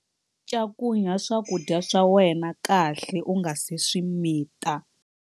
Cakunya swakudya swa wena kahle u nga si swi mita.